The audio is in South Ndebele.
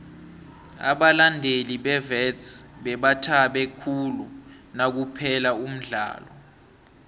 abalandeli bewits bebathabe khulu nakuphela umdlalo